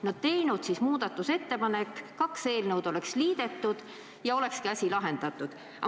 No oleks võinud siis teha muudatusettepaneku, kaks eelnõu oleks liidetud ja olekski asi lahendatud olnud.